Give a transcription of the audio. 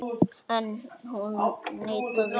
En hún neitaði því.